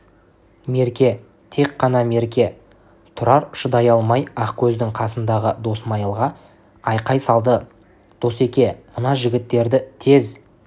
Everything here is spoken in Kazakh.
мерке тек қана мерке тұрар шыдай алмай ақкөздің қасындағы досмайылға айқай салды досеке мына жігіттерді тез